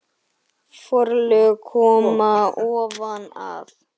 Forlög koma ofan að